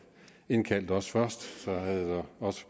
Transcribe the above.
indkaldt os først så havde der også